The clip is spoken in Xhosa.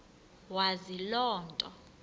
wazi loo nto